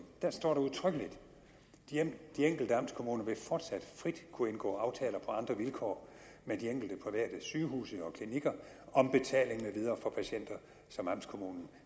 står der udtrykkeligt de enkelte amtskommuner vil fortsat frit kunne indgå aftaler på andre vilkår med de enkelte private sygehuse og klinikker om betaling med videre for patienter som amtskommunen